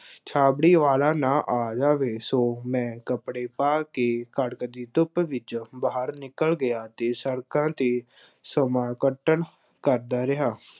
ਛਾਬੜੀ ਵਾਲਾ ਨਾ ਆ ਜਾਵੇ। ਸੋ ਮੈਂ ਕੱਪੜੇ ਪਾ ਕੇ ਕੜਕਦੀ ਧੁੱਪ ਵਿੱਚ ਬਾਹਰ ਨਿਕਲ ਗਿਆ ਅਤੇ ਸੜਕਾਂ ਤੇ ਸਮਾਂ ਕੱਟਣ ਕਰਦਾ ਰਿਹਾ।